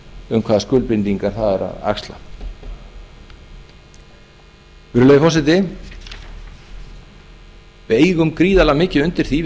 um hvaða skuldbindingar það er að axla virðulegi forseti við eigum gríðarlega mikið undir því við